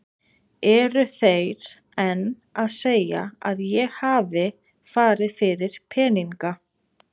Eru þeir enn að segja að ég hafi farið fyrir peninga?